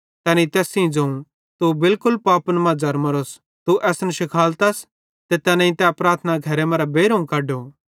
तैनेईं तैस ज़ोवं तू त बिलकुल पापन मां ज़र्मोरोस तू असन शिखालतस ते तैनेईं तै प्रार्थना घरे मरां बेइरोवं कड्डो